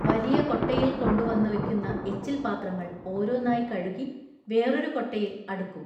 വലിയ കൊട്ടയിൽ കൊണ്ടുവന്നു വെക്കുന്ന എച്ചിൽപാത്രങ്ങൾ ഓരോന്നായി കഴുകി വേറൊരു കൊട്ടയിൽ അടുക്കും.